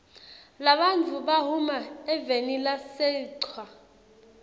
labantfu bahuma evenilasechwa